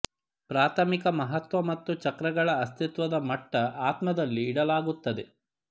ಪ್ರಾಥಮಿಕ ಮಹತ್ವ ಮತ್ತು ಚಕ್ರಗಳ ಅಸ್ತಿತ್ವದ ಮಟ್ಟ ಆತ್ಮದಲ್ಲಿ ಇಡಲಾಗುತ್ತದೆ